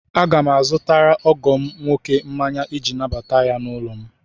Aga m azụtara ọgọ m nwoke mmanya iji nabata ya n'ụlọ m.